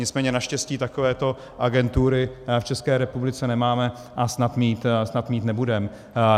Nicméně naštěstí takovéto agentury v České republice nemáme a snad mít nebudeme.